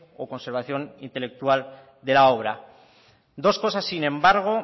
o conservación intelectual de la obra dos cosas sin embargo